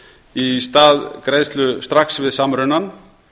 í stað greiðslu strax við samrunann